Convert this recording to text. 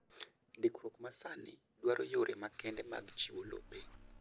Ndikruok ma sani dwaro yore makende mag chiwo lope.